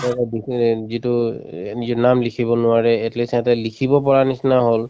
যিটো এ এ নিজৰ নাম লিখিব নোৱাৰে at least সেহেঁতে লিখিব পৰাৰ নিচিনা হল